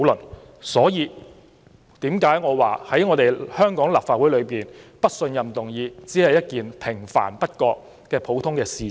此所以我說，在香港立法會提出"不信任"議案，只是平凡不過又普通的事情。